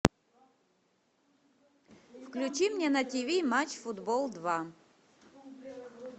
включи мне на тв матч футбол два